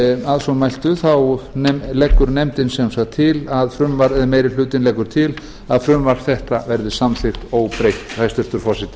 að svo mæltu leggur meiri hlutinn leggur til að frumvarp þetta verði samþykkt óbreytt hæstvirtur forseti